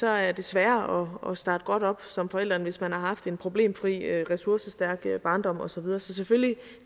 er det sværere at starte godt op som forælder end hvis man har haft en problemfri ressourcestærk barndom og så videre så selvfølgelig